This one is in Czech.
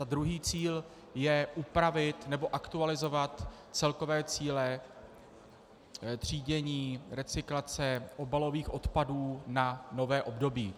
A druhý cíl je upravit nebo aktualizovat celkové cíle třídění, recyklace obalových odpadů na nové období.